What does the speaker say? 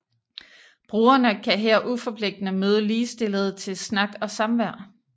Brugerne kan her uforpligtende møde ligestillede til snak og samvær